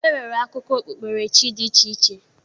E nwere akụkọ okpukperechi dị iche iche.